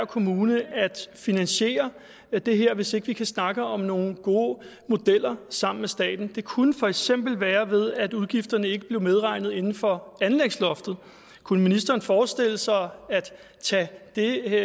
kommune at finansiere det her hvis ikke vi kan snakke om nogle gode modeller sammen med staten det kunne for eksempel være ved at udgifterne ikke blev medregnet inden for anlægsloftet kunne ministeren forestille sig at tage det